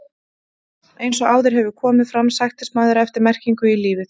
Eins og áður hefur komið fram sækist maðurinn eftir merkingu í lífið.